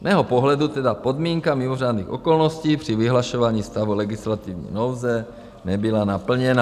Z mého pohledu tedy podmínka mimořádných okolností při vyhlašování stavu legislativní nouze nebyla naplněna.